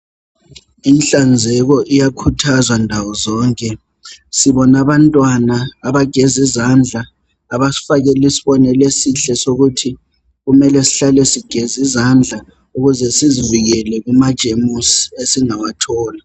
Inhlanzeko iyakhuthazwa ndawo zonke. Sibona abantwana abagez' izandla abasifakela isibonelo esihle sokukuthi kumele sihlale sigez'izandla ukuze sizivikele kumajemusi esingawathola.